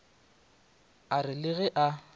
a re le ge a